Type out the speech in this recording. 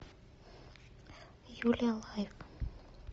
юлия лайк